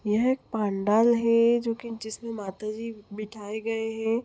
यह एक पंडाल है जो की जिसमे माता जी बिठाए गए है।